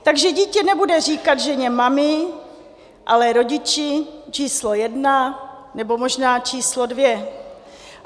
Takže dítě nebude říkat ženě mami, ale rodiči číslo jedna nebo možná číslo dvě.